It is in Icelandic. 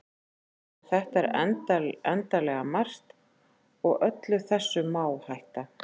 en þetta er endanlega margt og öllu þessu má hætta